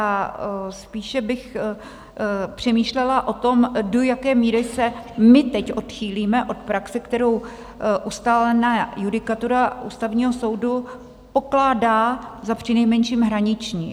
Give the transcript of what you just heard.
A spíše bych přemýšlela o tom, do jaké míry se my teď odchýlíme od praxe, kterou ustálená judikatura Ústavního soudu pokládá za přinejmenším hraniční.